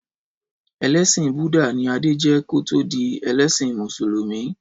Ẹlẹsin Búdà ni Adé jẹ́ kí ó tó di ẹlẹ́sìn Mùsùlùmí.